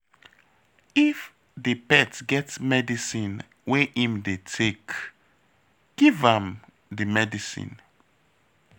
If di pet get medicine wey im dey take, give am di medicine